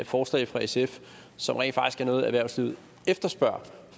forslag fra sf som rent faktisk er noget erhvervslivet efterspørger